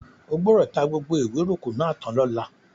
O gbọ́dọ̀ ta gbogbo ewóròkọ́ náà tán lọ́la!